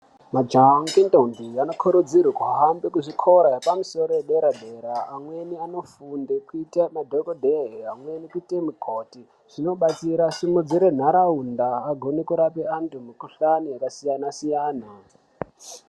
Majaha ngendombi anokurudzirwe kuhambe kuzvikora yepamusoro yedera dera amweni anofunde kuite madhokodheya amweni kuite mikoti zvinobatsira simudzira nharaunda agone kurape mikhuhlani yakasiyana-siyana.